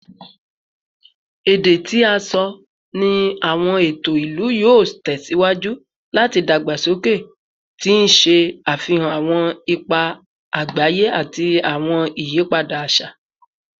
Ede ti a sọ ni awọn eto ilu yoo tẹsiwaju lati dagbasoke, ti n ṣe afihan awọn ipa agbaye ati awọn iyipada aṣa